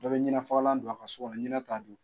Dɔ bɛ ɲinɛ fagalan don a ka so ɲinɛ t'a dun.